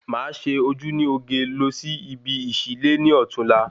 Ma ṣe ojú ní oge losí ibi ìsí lé ní ọtún la